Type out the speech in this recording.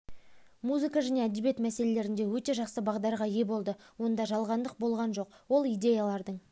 музыка және әдебиет мәселелерінде оте жақсы бағдарға ие болды онда жалғандық болған жоқ ол идеялардың